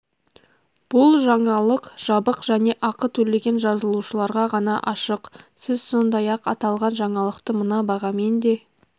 бұл жаңалық жабық және ақы төлеген жазылушыларға ғана ашық сіз сондай-ақ аталған жаңалықты мына бағамен де